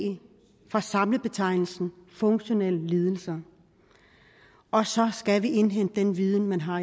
fra samlebetegnelsen funktionelle lidelser og så skal vi indhente den viden man har